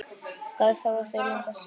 Hvað þurfa þau langa suðu?